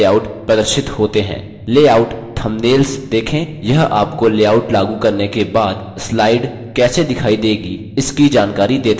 layout thumbnails देखें यह आपको लेआउट लागू करने के बाद slide कैसे दिखाई देगी है इसकी जानकारी देता है